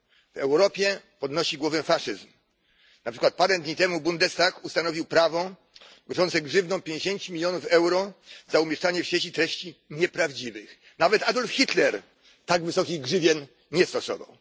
W Europie podnosi głowę faszyzm, na przykład parę dni temu Bundestag ustanowił prawo grożące grzywną 50 milionów euro za umieszczanie w sieci treści nieprawdziwych nawet Adolf Hitler tak wysokich grzywien nie stosował.